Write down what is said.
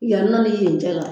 Yan nɔ ni yen cɛ la